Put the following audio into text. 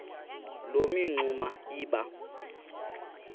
loo mingxuma iba